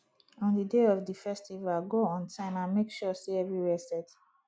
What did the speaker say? on di day of di festival go on time and make sure say everywhere set